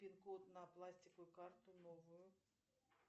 пин код на пластиковую карту новую